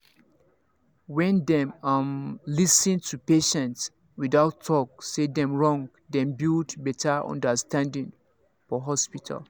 when dem um lis ten to patient without talk say dem wrong dem build better understanding for hospital